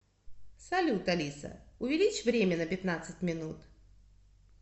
салют алиса увеличь время на пятнадцать минут